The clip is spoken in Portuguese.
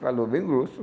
Falou bem grosso.